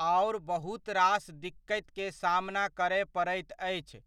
आओर बहुत रास दिक्कतिके सामना करय पड़ैत अछि